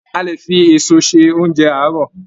A lè fi èso se oúnjẹ àárọ̀.